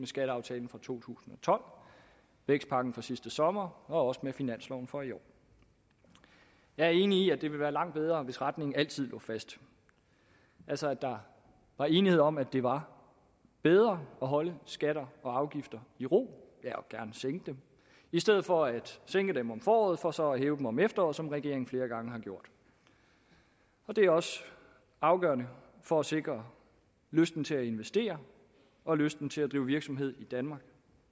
skatteaftalen fra to tusind og tolv vækstpakken fra sidste sommer og også med finansloven for i år jeg er enig i at det ville være langt bedre hvis retningen altid lå fast altså at der var enighed om at det var bedre at holde skatter og afgifter i ro og gerne sænke dem i stedet for at sænke dem om foråret for så at hæve dem om efteråret som regeringen flere gange har gjort og det er også afgørende for at sikre lysten til at investere og lysten til at drive virksomhed i danmark